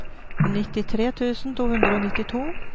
nittitre tusen to hundre og nittito